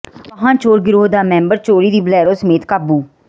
ਵਾਹਨ ਚੋਰ ਗਿਰੋਹ ਦਾ ਮੈਂਬਰ ਚੋਰੀ ਦੀ ਬਲੈਰੋ ਸਮੇਤ ਕਾਬੂ